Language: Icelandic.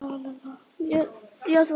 Ekkert af þessu skorti.